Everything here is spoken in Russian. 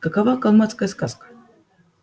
какова калмыцкая сказка